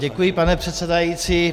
Děkuji, pane předsedající.